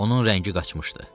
Onun rəngi qaçmışdı.